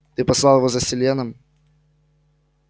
ты послал его за селеном